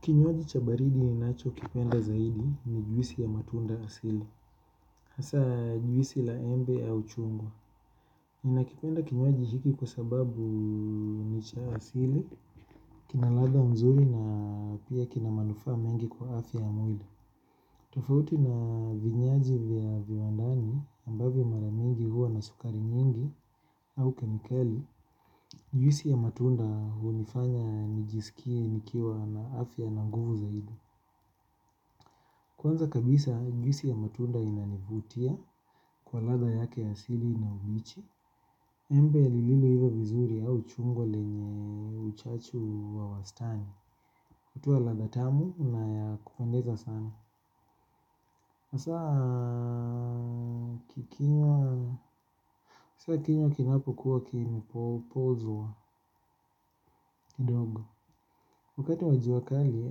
Kinywaji cha baridi ninacho kipenda zaidi ni juisi ya matunda asili. Hasa juisi la embe au chungwa ninakipenda kinywaji hiki kwa sababu ni cha asili. Kinaladha mzuri na pia kinamanufaa mengi kwa afya ya mwili. Tofauti na vinyaji vya viwandani ambavyo maramingi huwa na sukari nyingi au kemikali juisi ya mtunda hunifanya nijiskie nikiwa na afya na nguvu zaidi kwanza kabisa juisi ya matunda inanivutia kwa ladha yake ya asili na uwichi embe liililo hiva vizuri au chungwa lenye uchachu wa wastani. Kutuo ladha tamu na ya kupendeza sana hasaa ukikinywa kinapo kuwa kime pozwa kidogo. Wakati wajua kali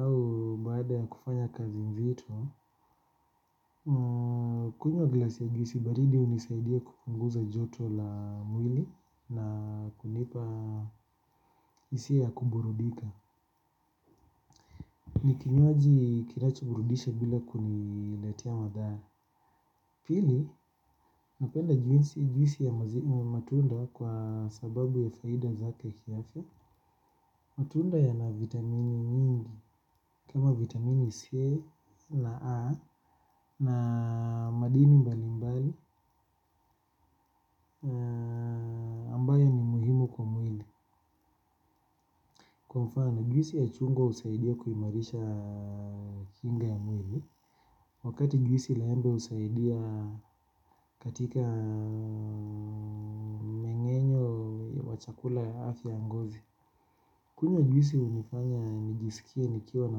au baada ya kufanya kazi nzito. Kunywa glasi ya juisi baridi hunisaidia kupunguza joto la mwili na kunipa hisia ya kuburudika. Nikinywaji kinacho burudisha bila kuniletea madhara pili napenda juisi ya matunda kwa sababu ya faida zake kiafya. Matunda ya na vitamini nyingi. Kama vitamini C na A na madini mbali mbali ambayo ni muhimu kwa mwili. Kwa mfano juisi ya chungwa husaidia kuimarisha kinga ya mwili. Wakati juisi laembe husaidia katika mmengenyo wachakula ya afya ya ngozi. Kunywa juisi hunifanya nijisikie nikiwa na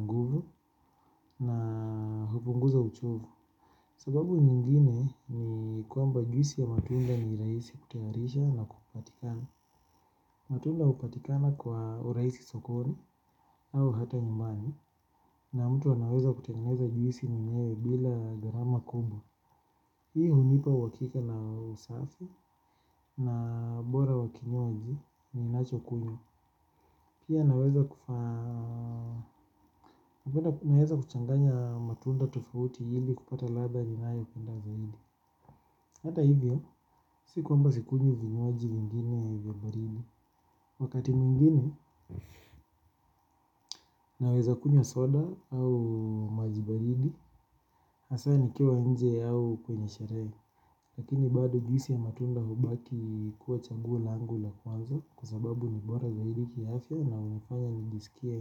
nguvu na hupunguza uchovu. Sababu nyingine ni kwamba juisi ya matunda ni raisi kutayarisha na kupatikana. Matunda hupatikana kwa urahisi sokoni au hata nyumbani. Na mtu anaweza kutengeneza juisi mwenyewe bila grama kubwa. Hii hunipa uhakika na usafi na bora wakinywaji. Ni nacho kunywa. Pia naweza kufa. Naweza kuchanganya matunda tofauti ili kupata ladha ninayo penda zaidi. Hata hivyo si kwamba sikunywi vinywaji vingine vya baridi. Wakati mwingine. Naweza kunywa soda au majibaridi. Hasa ni kiwaa wnje au kwenye sherehe. Lakini bado juisi ya matunda hubaki kuwa chaguo langu la kwanza kwasababu ni bora zaidi kiafya na hunifanya njisikie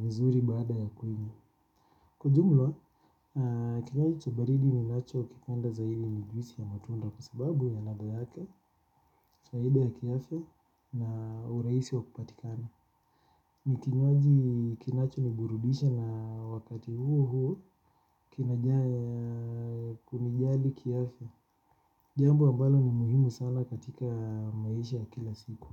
vizuri baada ya kwinywa. Kwa jumla kinywaji cha baridi ni nacho kipenda zaidi ni juisi ya matunda kwasababu ya ladha yake, zaidi ya kiafya na urahisi wa kupatikana. Nikinywaji kinacho ni burudisha na wakati huo huo kinajaa ya kumjali kiafya. Jambo ambalo ni muhimu sana katika maisha ya kila siku.